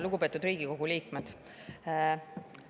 Lugupeetud Riigikogu liikmed!